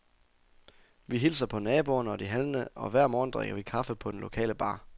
Vi hilser på naboerne og de handlende, og hver morgen drikker vi kaffe på den lokale bar.